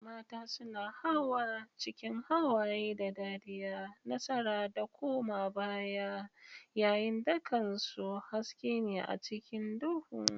Mata suna hawa cikin hawaye da dariya, nasara da koma baya, tsayin dakansu haske ne a cikin duhu.